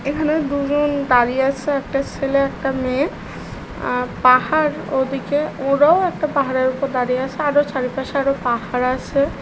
এখানে দুজন দাঁড়িয়ে আছে একটা ছেলে একটা মেয়ে। আর পাহাড় ওদিকে ওরাও একটা পাহাড়ের উপর দাঁড়িয়ে আছে আরো চারিপাশে আরো পাহাড় আছে